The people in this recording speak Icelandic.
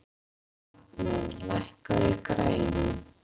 Magney, lækkaðu í græjunum.